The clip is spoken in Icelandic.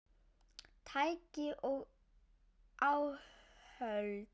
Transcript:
Tæki og áhöld